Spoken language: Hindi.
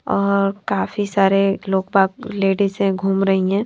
और काफी सारे लोगबाग लेडीज ह घूम रही हैं।